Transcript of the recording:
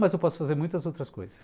Mas eu posso fazer muitas outras coisas.